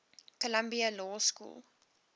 columbia law school